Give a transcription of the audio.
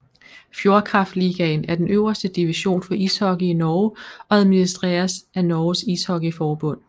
Fjordkraftligaen er den øverste division for ishockey i Norge og administreres af Norges Ishockeyforbund